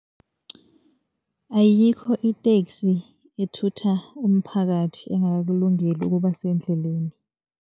Ayikho iteksi ethutha umphakathi angakakulungeli ukuba sendleleni.